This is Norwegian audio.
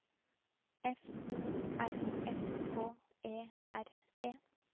F O R S K E R E